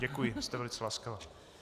Děkuji, jste velice laskavá.